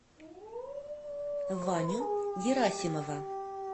ваню герасимова